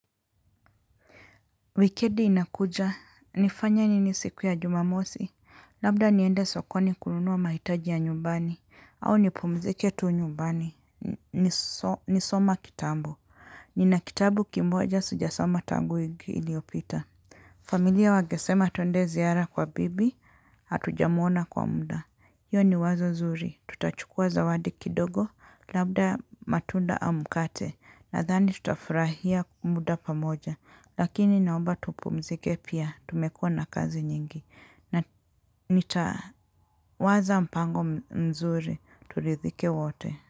Wikedi inakuja, nifanye nini siku ya jumamosi, labda niende sokoni kununuwa mahitaji ya nyumbani, au nipumzike tu nyumbani. Nisoma kitambo. Nina kitabu kimboja sijasoma tangu iliopita. Familia wangesema twende ziara kwa bibi, hatujamwona kwa muda. Iyo ni wazo zuri, tutachukua zawadi kidogo, labda matunda au mkate, nadhani tutafurahia kumuda pamoja. Lakini naomba tupumzike pia tumekuwa na kazi nyingi na nitawaza mpango mzuri turidhike wote.